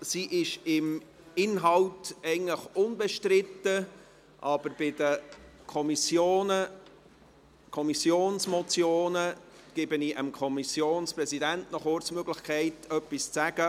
Sie ist betreffend den Inhalt eigentlich unbestritten, aber bei Kommissionsmotionen gebe ich dem Kommissionspräsidenten noch kurz die Möglichkeit, etwas zu sagen.